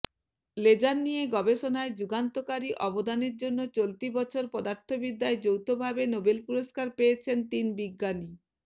laser নিয়ে গবেষণায় যুগান্তকারী অবদানের জন্য চলতি বছর পদার্থবিদ্যায় যৌথভাবে নোবেল পুরস্কার পেয়েছেন তিন বিজ্ঞানী